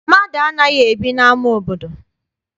Mmadụ anaghị ebi n'ama obodo.